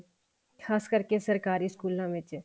ਖਾਸ ਕਰਕੇ ਸਰਕਾਰੀ ਸਕੂਲਾਂ ਵਿੱਚ